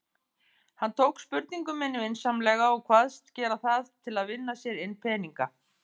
Hann tók spurningu minni vinsamlega og kvaðst gera það til að vinna sér inn peninga.